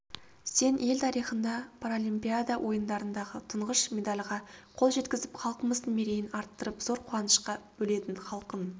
сен ел тарихында паралимпиада ойындарындағы тұңғыш медальға қол жеткізіп халқымыздың мерейін арттырып зор қуанышқа бөледің халқың